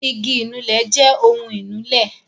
igi ìnulẹ̀ jẹ ohun ìnulẹ̀